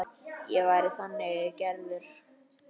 Ég væri þannig gerður.